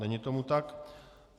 Není tomu tak.